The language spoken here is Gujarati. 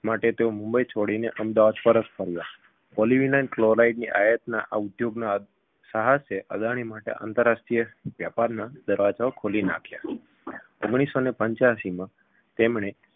માટે તેઓ મુંબઈ છોડી અમદાવાદ પરત ફર્યા polyvinyl cloride ની આયાતના આ ઉદ્યોગ સાહસે અદાણી માટે આંતરરાષ્ટ્રીય વ્યાપારના દરવાજા ખોલી નાખ્યા ઓગણીસસોને પંચ્યાશીમાં તેમણે